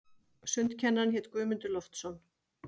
Sundkennarinn hét Guðmundur Loftsson.